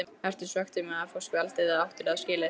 Ertu svekktur með að fá spjaldið eða áttirðu það skilið?